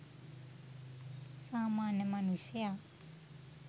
සාමාන්‍ය මනුෂ්‍යයා